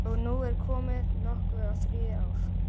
Og nú er komið nokkuð á þriðja ár.